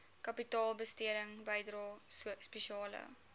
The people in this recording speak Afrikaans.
kapitaalbesteding bydrae spesiale